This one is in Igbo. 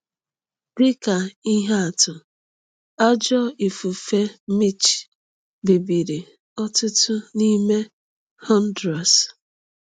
Dị ka ihe atụ, ajọ ifufe Mitch bibiri ọtụtụ n’ime Honduras.